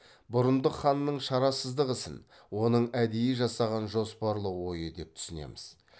бұрындық ханның шарасыздық ісін оның әдейі жасаған жоспарлы ойы деп түсінеміз